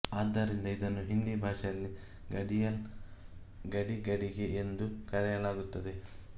ಆದ್ದರಿಂದ ಇದನ್ನು ಹಿಂದಿ ಭಾಷೆಯಲ್ಲಿ ಗಡಿಯಲ್ ಗಡಿಗಡಿಗೆ ಎಂದು ಕರೆಯಲಾಗುತ್ತದೆ